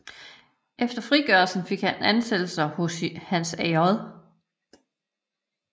Efter færdiggørelsen fik han ansættelser hos Hans J